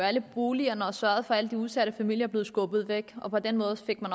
alle boligerne og sørgede for at alle de udsatte familier blev skubbet væk og på den måde fik man